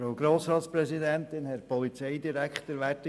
Kommissionssprecher der SiKMinderheit.